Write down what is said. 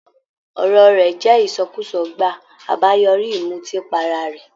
Ọ̀rọ̀ rẹ̀ jẹ ìsọkúsọ gbàá, àbáyoríi ìmùtípara re